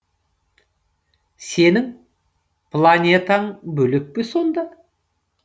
сенің планетаң бөлек пе сонда